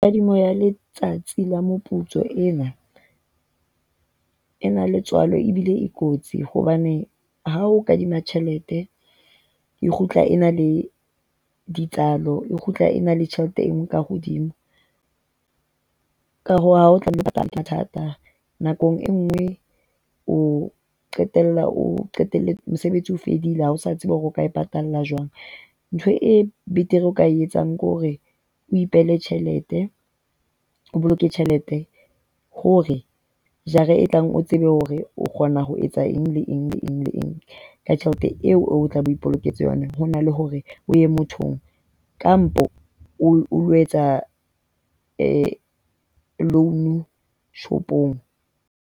Kadimo ya letsatsi la moputso ena e na le tswalo ebile e kotsi hobane ha o kadima tjhelete e kgutla e na le e kgutla e na le tjhelete e nngwe ka hodimo ka ha o tlamehile ke mathata. Nako e nngwe o qetella o qetelle mosebetsi o fedile ha o sa tsebe hore o ka e patala jwang. Ntho e betere o ka etsang ke hore o ipehele tjhelete. O boloke tjhelete hore jara e tlang o tsebe hore o kgona ho etsa eng le eng le eng le eng, ka tjhelete eo o tlabe o ipoloketse yona ho na le hore o ye mothong kampo, o ilo etsa loan shopong.